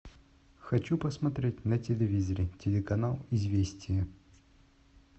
хочу посмотреть на телевизоре телеканал известия